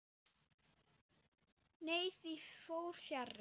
Nei, því fór fjarri.